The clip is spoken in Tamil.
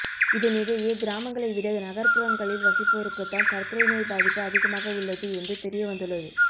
இதனிடையே கிராமங்களைவிட நகர்ப்புறங்களில் வசிப்போருக்குத்தான் சர்க்கரை நோய் பாதிப்பு அதிகமாக உள்ளது என்று தெரிய வந்துள்ளது